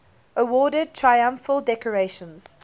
awarded triumphal decorations